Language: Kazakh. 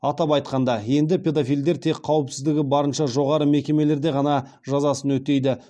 атап айтқанда енді педофилдер тек қауіпсіздігі барынша жоғары мекемелерде ғана жазасын өтейді